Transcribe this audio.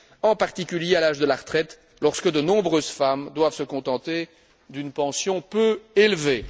en particulier à l'âge de la retraite, lorsque de nombreuses femmes doivent se contenter d'une pension peu élevée.